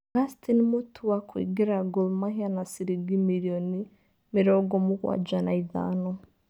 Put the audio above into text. Augustine Mutua kũingĩra Gol_ Mahia na ciringi mirioni mĩrongo mũgwanja na ithano